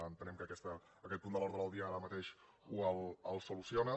entenem que aquest punt de l’ordre del dia ara mateix ho soluci·ona